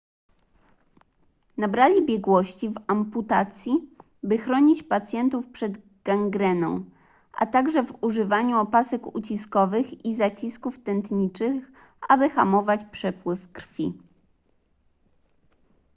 nabrali biegłości w amputacji by chronić pacjentów przed gangreną a także w używaniu opasek uciskowych i zacisków tętniczych aby hamować przepływ krwi